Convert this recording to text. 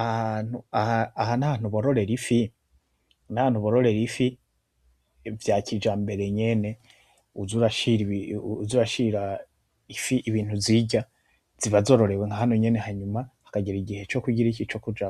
Aha hantu, aha ni ahantu bororera ifi vya kijambere nyene, uza urashira ifi ibintu zirya. Ziba zororewe nka hano nyene hanyuma hakagera igihe co kugiriki, co kuja